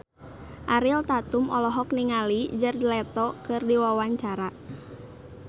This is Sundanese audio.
Ariel Tatum olohok ningali Jared Leto keur diwawancara